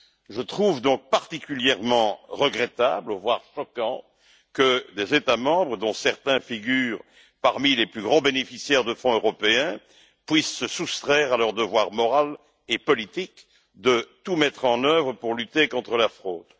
Je trouve donc particulièrement regrettable, voire choquant, que des États membres, dont certains figurent parmi les plus grands bénéficiaires de fonds européens, puissent se soustraire à leur devoir moral et politique de tout mettre en œuvre pour lutter contre la fraude.